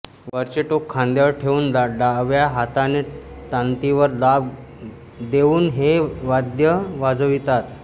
वरचे टोक खांद्यावर ठेवून डाव्या हाताने तांतीवर दाब देऊन हे वाद्य वाजवितात